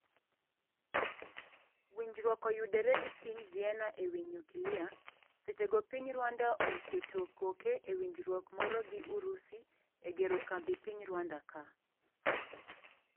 Winjruok oyudore gi piny Vienna ewi nyukilia, seche go piny Rwanda ooketo koke ewinjruok moro gi Urusi egero kambi piny Rwanda ka.